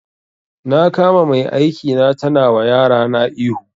Na kama mai aiki na tana wa yarana ihu